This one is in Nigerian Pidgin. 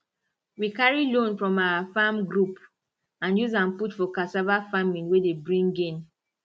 we carry loan from our farm group and use am put for cassava farming wey dey bring gain